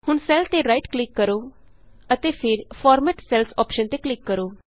ਹੁਣ ਸੈੱਲ ਤੇ right click ਕਰੋ ਅਤੇ ਫਿਰ ਫਾਰਮੈਟ ਸੈਲਜ਼ ਅੋਪਸ਼ਨ ਤੇ ਕਲਿਕ ਕਰੋ